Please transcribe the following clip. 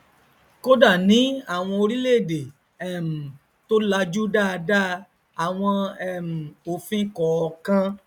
kódà ní àwọn orílẹèdè um tó lajú dáadáa àwọn um òfìn kọọkan